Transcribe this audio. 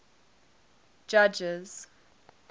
judges